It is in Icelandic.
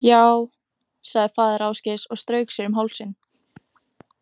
Ja, sagði faðir Ásgeirs og strauk sér um hálsinn.